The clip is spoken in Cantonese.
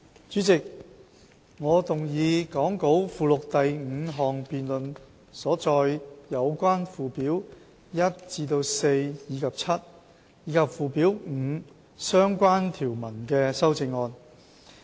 主席，我動議講稿附錄第五項辯論所載有關附表1至4及 7， 以及附表5相關條文的修正案。